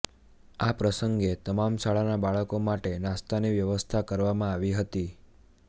આ પ્રસંગે તમામ શાળાના બાળકો માટે નાસ્તાની વ્યવસ્થા કરવામાં આવી હતી